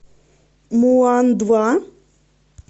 мулан два